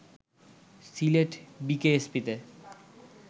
Sylhet বিকেএসপিতে